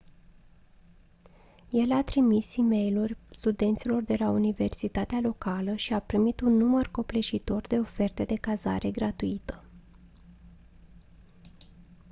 el a trimis e-mailuri studenților de la universitatea locală și a primit un număr copleșitor de oferte de cazare gratuită